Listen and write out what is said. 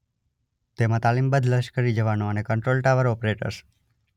તેમાં તાલીમબદ્ધ લશ્કરી જવાનો અને કન્ટ્રોલ ટાવર ઓપરેટર્સ